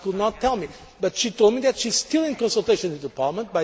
She could not tell me, but she told me that she is still in consultation with Parliament.